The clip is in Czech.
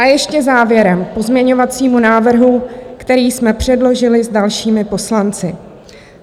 A ještě závěrem k pozměňovacímu návrhu, který jsme předložili s dalšími poslanci.